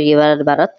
url bar to